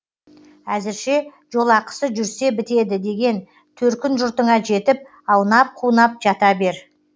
әзірше жолақысы жүрсе бітеді деген төркін жұртыңа жетіп аунап қунап жата бер